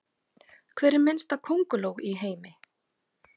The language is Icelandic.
Hver minnsta könguló í heimi?